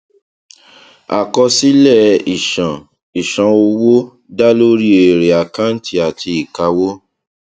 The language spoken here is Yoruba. àkọsílẹ ìṣàn ìṣàn owó da lórí èrè àkàǹtì àti ìkáwó